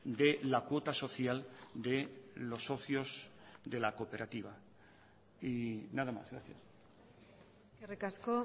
de la cuota social de los socios de la cooperativa y nada más gracias eskerrik asko